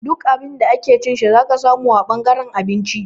Duk Abin da ake ci shi zaka samu a ɓangaren abinci